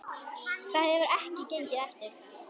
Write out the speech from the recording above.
Það hefur ekki gengið eftir.